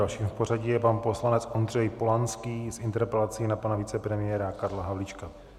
Dalším v pořadí je pan poslanec Ondřej Polanský s interpelací na pana vicepremiéra Karla Havlíčka.